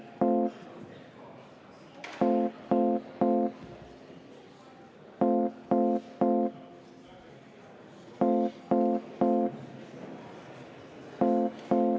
V a h e a e g